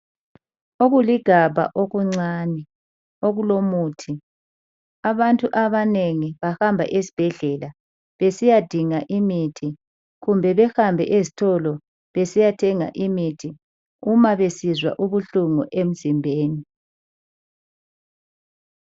Okuligabha okuncani okulomuthi, abantu abanengi bahamba ezibhedlela besiyadinga imithi kumbe behambe eztolo besiya thenga imithi uma besizwa ubuhlungu emzimbeni.